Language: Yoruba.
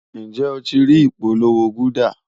Njẹ o ti rii ipolowo gulder?